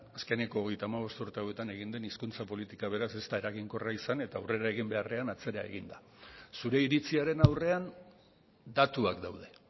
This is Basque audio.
azkeneko hogeita hamabost urte hauetan egin den hizkuntza politika beraz ez da eraginkorra izan eta aurrera egin beharrean atzera egin da zure iritziaren aurrean datuak daude